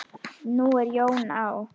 Nú er Jón á